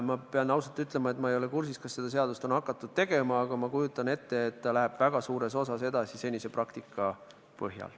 Ma pean ausalt ütlema, et ma ei ole kursis, kas seda seadust on hakatud tegema, aga ma kujutan ette, et see läheb väga suures osas edasi senise praktika põhjal.